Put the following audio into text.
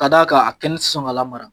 Ka da kan a kɛnɛ ti sɔn ka la mara.